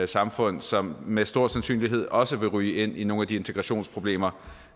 samfund som med stor sandsynlighed også vil ryge ind i nogle af de integrationsproblemer